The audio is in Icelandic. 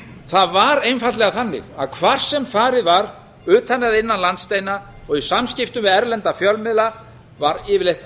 það var einfaldlega þannig að hvar sem farið var utan eða innan landsteina og í samskiptum við erlenda fjölmiðla var yfirleitt